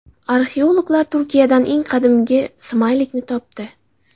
Arxeologlar Turkiyadan eng qadimgi smaylikni topdi.